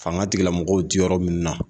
Fanga tigilamɔgɔw ti yɔrɔ min na